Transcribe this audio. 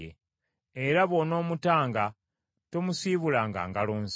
Era bw’onoomutanga tomusiibulanga ngalo nsa.